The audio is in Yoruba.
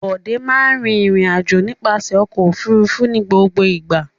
Bọ̀dé máa in rìnrìn-àjò nípasẹ̀ ọkọ̀-òfurufú ní gbogbo ìgbà.